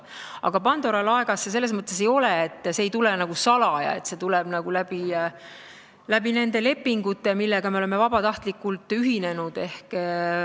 Aga Pandora laegas see selles mõttes ei ole, et see ei tule nagu salaja, see tuleb nende lepingute kaudu, millega me oleme vabatahtlikult ühinenud.